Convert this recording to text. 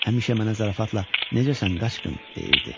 Həmişə mənə zarafatla necəsən qaçqın deyirdi.